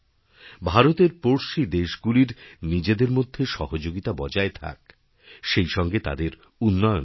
ভারতেরপড়শী দেশগুলির নিজেদের মধ্যে সহযোগিতা বজায় থাক সেইসঙ্গে তাদের উন্নয়নও হোক